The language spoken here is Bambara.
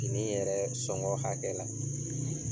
Ini yɛrɛ sɔngɔ hakɛ la